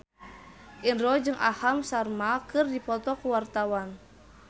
Indro jeung Aham Sharma keur dipoto ku wartawan